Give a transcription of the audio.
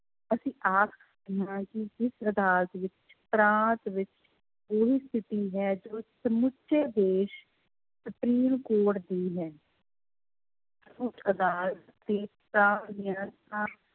ਅਸੀਂ ਆਖ ਸਕਦੇ ਹਾਂ ਕਿ ਜਿਸ ਅਦਾਲਤ ਵਿੱਚ ਪ੍ਰਾਂਤ ਵਿੱਚ ਸਮੁੱਚੇ ਦੇਸ ਸੁਪਰੀਮ ਕੋਰਟ ਦੀ ਹੈ ਉੱਚ ਅਦਾਲਤ ਤੇ ਪ੍ਰਾਂਤ ਦੀਆਂ